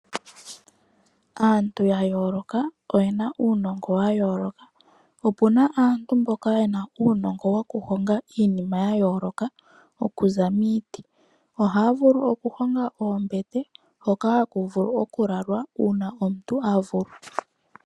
Aantu yayooloka oyena uunongo wayooloka. Opuna aantu mboka yena uunongo woku honga iinima yayooloka okuza miiti. Ohaya vulu okuhonga oombete, hoka haku vulu okulalwa uuna omuntu a vulwa.